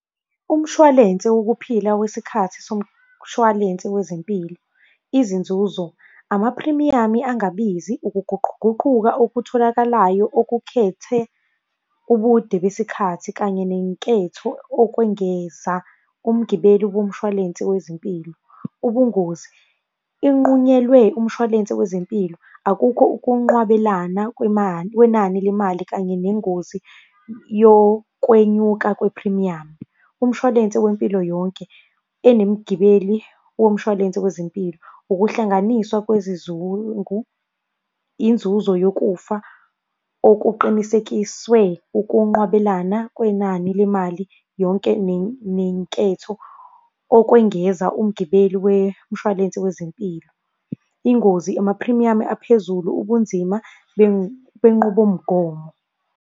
Umshwalense wokuphila wesikhathi somshwalense wezempilo. Izinzuzo, amaphrimiyamu angabizi, ukuguquguquka okutholakalayo okukhethe ubude besikhathi kanye nenketho okwengeza umgibeli bomshwalense wezempilo. Ubungozi, inqunyelwe umshwalense wezempilo, akukho ukunqwabelana kwenani lemali kanye nengozi yokwenyuka kwephrimiyamu. Umshwalense wempilo yonke enemgibeli womshwalense wezempilo. Ukuhlanganiswa kwezizungu, inzuzo yokufa okuqinisekiswe ukunqwabelana kwenani lemali yonke nenketho okwengeza umgibeli wemshwalense wezempilo. Ingozi amaphrimiyamu aphezulu ubunzima benqubomgomo.